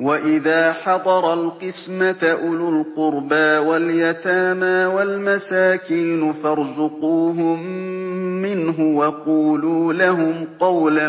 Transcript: وَإِذَا حَضَرَ الْقِسْمَةَ أُولُو الْقُرْبَىٰ وَالْيَتَامَىٰ وَالْمَسَاكِينُ فَارْزُقُوهُم مِّنْهُ وَقُولُوا لَهُمْ قَوْلًا